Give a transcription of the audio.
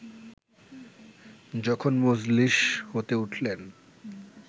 যখন মজলিস হতে উঠলেন